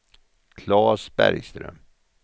Claes Bergström